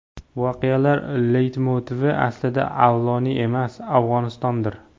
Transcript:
Voqealar leytmotivi aslida Avloniy emas, Afg‘onistondir.